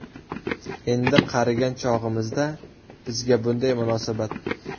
Endi qarigan chog‘imizda bizga bunday munosabat.